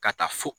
Ka taa fo